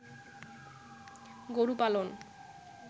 গরু পালন